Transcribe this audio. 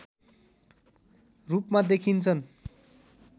रूपमा देखिन्छन्